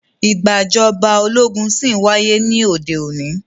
Ìgbàjọba ológun ṣí ń wáyé ní òde òní.